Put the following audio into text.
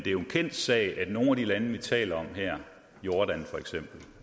er jo en kendt sag at i nogle af de lande vi taler om her jordan